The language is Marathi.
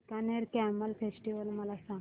बीकानेर कॅमल फेस्टिवल मला सांग